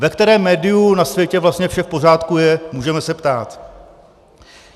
Ve kterém médiu na světě vlastně vše v pořádku je, můžeme se ptát.